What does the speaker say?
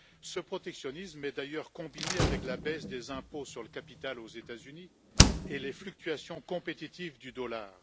Ce protectionnisme est d'ailleurs combiné avec la baisse des impôts sur le capital aux États-Unis et les fluctuations compétitives du dollar.